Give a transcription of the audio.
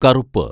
കറുപ്പ്